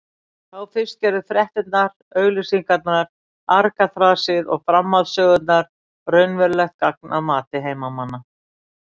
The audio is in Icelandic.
Þá fyrst gerðu fréttirnar, auglýsingarnar, argaþrasið og framhaldssögurnar raunverulegt gagn að mati heimamanna.